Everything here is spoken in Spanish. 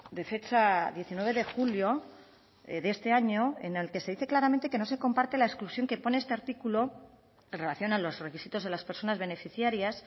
de fecha diecinueve de julio de este año en el que se dice claramente que no se comparte la exclusión que pone este artículo en relación a los requisitos de las personas beneficiarias